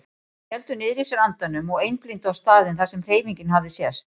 Þeir héldu niðri í sér andanum og einblíndu á staðinn þar sem hreyfingin hafði sést.